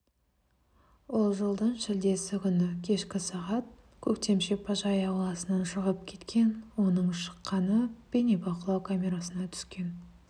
ол жылдың шілдесі күні кешкі сағат көктем шипажайы ауласынан шығып кеткен оның шыққаны бейнебақылау камерасына түскен